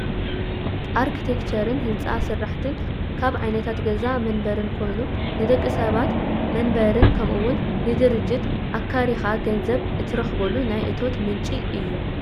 ኣርክቴክቸርን ህንፃ ስራሕትን ካብ ዓይነታት ገዛን መንበርን ኮይኑ ንደቂ ሰባት መንበርን ከምኡ ውን ንድርጅት ኣካሪኻ ገንዘብ እትረኽበሉ ናይ እቶት ምንጪ እዩ፡፡